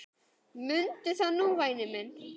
Mundu það nú væni minn.